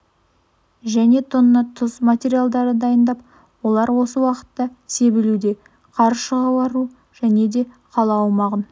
және тонна тұз материалдары дайындап олар осы уақытта себілуде қар шығару және де қала аумағын